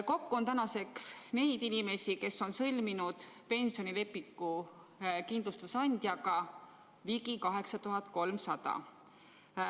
Kokku on tänaseks neid inimesi, kes on sõlminud kindlustusandjaga pensionilepingu, ligi 8300.